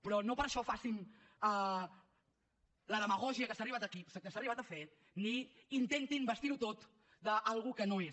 però no per això facin la demagògia a què s’ha arribat aquí que s’ha arribat a fer ni intentin vestir ho tot d’alguna cosa que no és